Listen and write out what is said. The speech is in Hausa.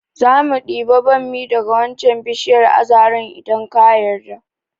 Zamu ɗibi bommi daga wancan bishiyar azara idan ka yarda